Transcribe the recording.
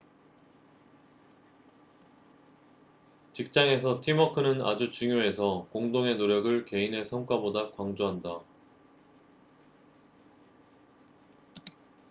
직장에서 팀워크는 아주 중요해서 공동의 노력을 개인의 성과보다 강조한다